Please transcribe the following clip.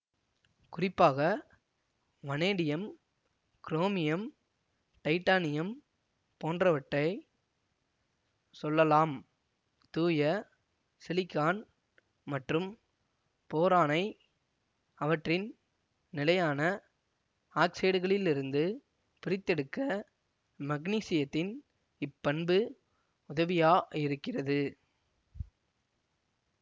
குறிப்பாக vanadium chromium titanium போன்றவற்றைச் சொல்லலாம் தூய சிலிகான் மற்றும் போரானை அவற்றின் நிலையான ஆக்சைடுகளிலிருந்து பிரித்தெடுக்க மக்னீசியத்தின் இப்பண்பு உதவியா இருக்கிறது